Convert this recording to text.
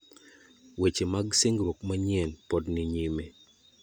Weche mag singruok manyien pod ni nyime.